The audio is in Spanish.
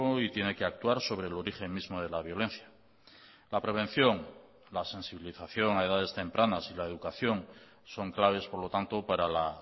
y tiene que actuar sobre el origen mismo de la violencia la prevención la sensibilización a edades tempranas y la educación son claves por lo tanto para la